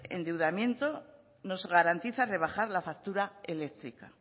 endeudamiento nos garantiza rebajar la factura eléctrica